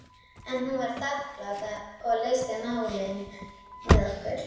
En hún var þakklát og leysti málin með okkur.